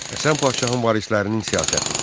Həsən Padşahın varislərinin siyasəti.